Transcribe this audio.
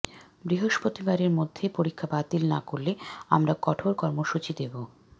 বৃহস্পতিবারের মধ্যে পরীক্ষা বাতিল না করলে আমরা কঠোর কর্মসূচি দেব